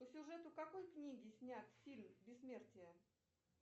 по сюжету какой книги снят фильм бессмертие